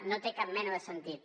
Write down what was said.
no té cap mena de sentit